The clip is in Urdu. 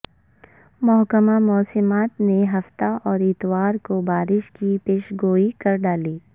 محکمہ موسمیات نے ہفتے اور اتوار کو بار ش کی پیشگوئی کر ڈالی